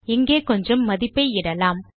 இங்கே கொஞ்சம் மதிப்பை இடலாம்